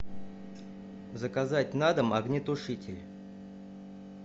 заказать на дом огнетушитель